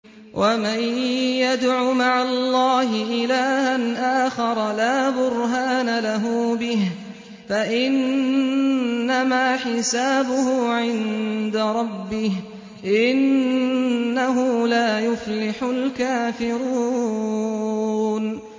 وَمَن يَدْعُ مَعَ اللَّهِ إِلَٰهًا آخَرَ لَا بُرْهَانَ لَهُ بِهِ فَإِنَّمَا حِسَابُهُ عِندَ رَبِّهِ ۚ إِنَّهُ لَا يُفْلِحُ الْكَافِرُونَ